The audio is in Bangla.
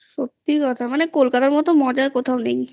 সত্যি কথা কলকাতার মতো মজা কোথাও নেই